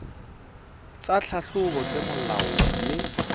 tsa tlhahlobo tse molaong mme